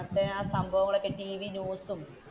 അന്നത്തെ സംഭവങ്ങളും ടിവി ന്യൂസും